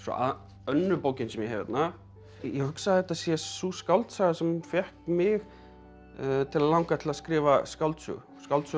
önnur bókin sem ég hef hérna ég hugsa að þetta sé sú skáldsaga sem fékk mig til að langa til að skrifa skáldsögu skáldsöguna